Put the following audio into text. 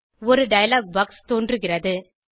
ஒரு dialogue box தோன்றுகிறது